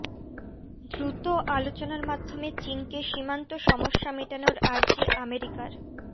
দ্রুত আলোচনার মাধ্যমে চিনকে সীমান্ত সমস্যা মেটানোর আর্জি আমেরিকার